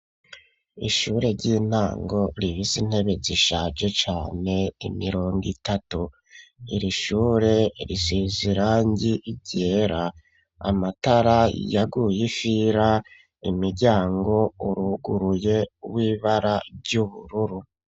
Ishure ry'intango rifise intebe zishaje cane imirongo itatu iri shure riseze irangi ryera amatara yaguye ifira imiryango uruguruye w'ibara ry'ubururu.